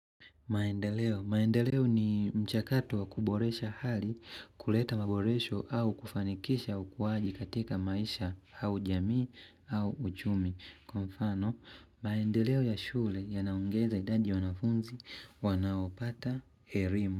Maendeleo. Maendeleo ni mchakato wa kuboresha hali kuleta maboresho au kufanikisha au ukuwaji katika maisha au jamii au uchumi. Kwa mfano, maendeleo ya shule yanaongeza idadi ya wanafunzi wanaopata elimu.